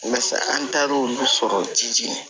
Walasa an taar'olu sɔrɔ